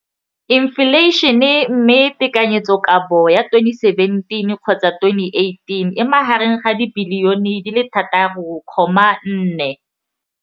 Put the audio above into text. Infleišene, mme tekanyetsokabo ya 2017 le 2018 e magareng ga R6.4 bilione.